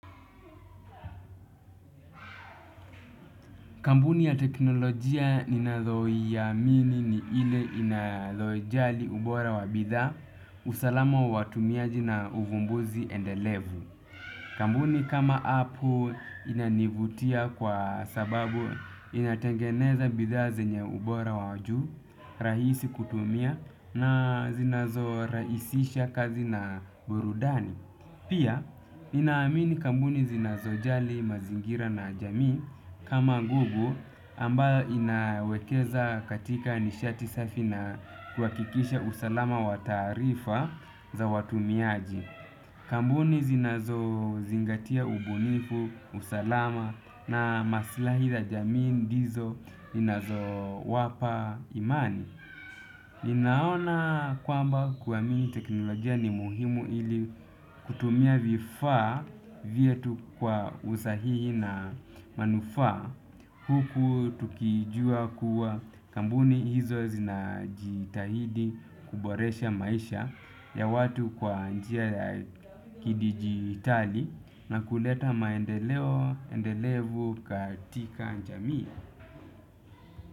Kambuni ya teknolojia ninayoiamini ni ile inayoijali ubora wa bidhaa, usalama wa watumiaji na uvumbuzi endelevu. Kambuni kama apple inanivutia kwa sababu inatengeneza bidhaa zenye ubora wa juu, rahisi kutumia na zinazo raisisha kazi na burudani. Pia, nina amini kambuni zinazo jali mazingira na jamii kama google ambayo inawekeza katika nishati safi na kuhakikisha usalama wa taarifa za watumiaji. Kambuni zinazo zingatia ubunifu, usalama na maslahi za jamii ndizo ninazo wapa imani. Ninaona kwamba kuamini teknolojia ni muhimu ili kutumia vifaa vyetu kwa usahihi na manufaa huku tukijua kuwa kambuni hizo zinajitahidi kuboresha maisha ya watu kwa njia ya kidigitali na kuleta maendeleo endelevu katika njamii.